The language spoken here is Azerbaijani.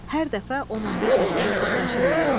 Hər dəfə 10-15 adamı xurdxəşil eləyir.